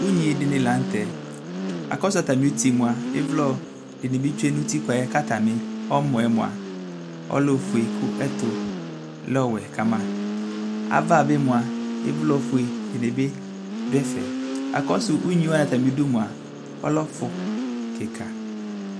unyi dini lă tɛ akɔsu atami uti ma ivlɔ dini bi tsoé nu utikpa ka tani ɔmɔɛ moa ɔlɛ ofoé kɛ ɛtu lɛ ɔwɛ kama ava bi moa ivlɔ foé dini bi du ɛfɛ akɔsu unyi woani atami du moa ɔlɛ fu kika